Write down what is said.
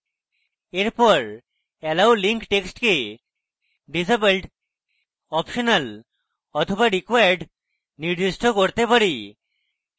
এরপর allow link text কে disabled optional or required নির্দিষ্ট করতে পারি